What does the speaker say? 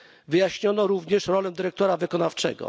Wyjaśniono również rolę dyrektora wykonawczego.